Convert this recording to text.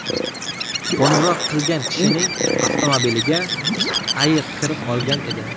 Qo‘ng‘iroq qilgan kishining avtomobiliga ayiq kirib olgan edi.